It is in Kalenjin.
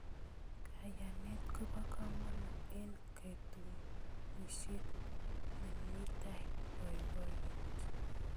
Kayanet kobo komonut eng katunisyet nemitei boiboiyet.